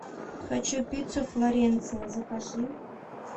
хочу пиццу флоренция закажи